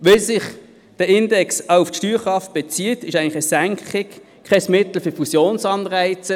So wie sich der Index auf die Steuerkraft bezieht, ist die Senkung eigentlich kein Mittel für Fusionsanreize.